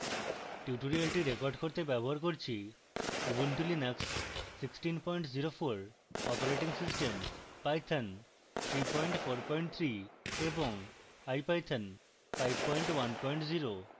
tutorial record করতে ব্যবহার করছি: